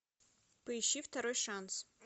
поищи второй шанс